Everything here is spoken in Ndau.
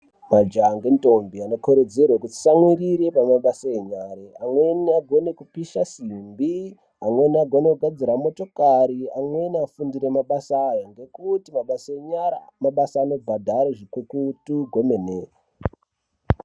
Majaha ngendombi anokurudzirwa kuti atsamwirire pamabasa enyara, amweni agone kupisha simbi, amweni agone kugadzire motokari, amweni afundire mabasa aya ngekuti mabasa enyara mabasa anobhadhara zvikukutu kwemene.